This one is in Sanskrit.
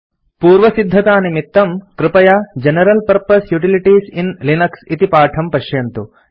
पूर्वसिद्धतानिमित्तं कृपया general purpose utilities in Linux इति पाठं पश्यन्तु